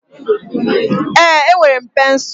Ee, enwere m pensụl.